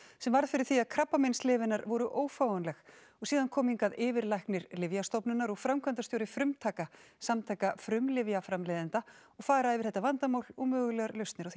sem varð fyrir því að krabbameinslyf hennar voru ófáanleg og síðan koma hingað yfirlæknir Lyfjastofnunar og framkvæmdastjóri frumtaka samtaka frumlyfjaframleiðenda og fara yfir þetta vandamál og mögulegar lausnir á því